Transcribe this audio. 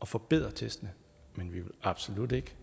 og forbedre testene men vi vil absolut ikke